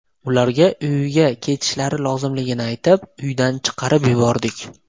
Ularga uyiga ketishlari lozimligini aytib, uydan chiqarib yubordik.